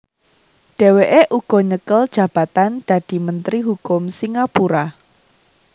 Dheweke uga nyekel jabatan dadi Menteri Hukum Singapura